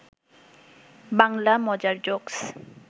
বাংলা মজার জোকস